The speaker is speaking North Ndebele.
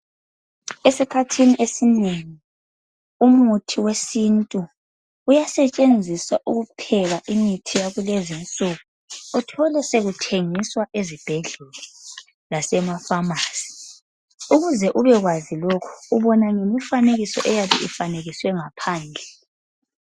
Esikhathini esinengi umuthi wesintu. Uyasetshenziswa ukupheka imithi yakulezinsuku. Uthole sokuthengiswa ezibhedlela lemafamasi. Ukuze ubekwazi lokhu ubona ngemifanekiso eyabe efanekiswe ngaphandle.